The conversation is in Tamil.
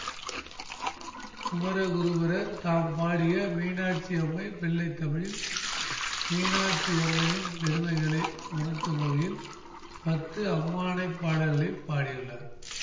குமரகுருபரர் தாம் பாடிய மீனாட்சியம்மை பிள்ளைத்தமிழில் மீனாட்சியம்மையின் பெருமைகளை உணர்த்தும் வகையில் பத்து அம்மானைப் பாடல்களை பாடியுள்ளார்